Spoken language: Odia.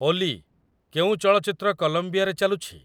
ଓଲି, କେଉଁ ଚଳଚ୍ଚିତ୍ର କଲମ୍ବିଆରେ ଚାଲୁଛି?